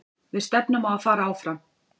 Við stefnum á að fara áfram.